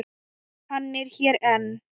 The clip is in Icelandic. Hann er hér enn.